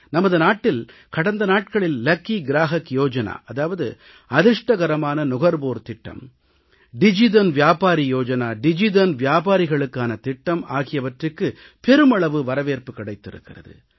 நமது நாட்டில் கடந்த நாட்களில் லக்கி க்ராஹக் யோஜனா அதிர்ஷ்டகரமான நுகர்வோர் திட்டம் டிஜிதன் வியாபாரி யோஜனா டிஜிதன் வியாபாரிகளுக்கான திட்டம் ஆகியவற்றுக்கு பெருமளவு வரவேற்பு கிடைத்திருக்கிறது